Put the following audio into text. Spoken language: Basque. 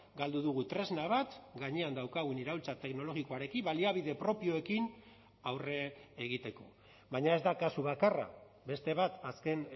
galdu dugu tresna bat gainean daukagun iraultza teknologikoarekin baliabide propioekin aurre egiteko baina ez da kasu bakarra beste bat azken